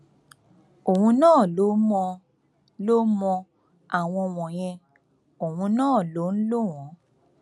òun náà ló mọ ló mọ àwọn wọnyẹn òun náà ló ń lò wọn